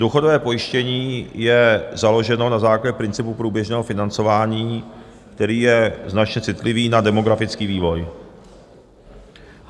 Důchodové pojištění je založeno na základě principu průběžného financování, který je značně citlivý na demografický vývoj.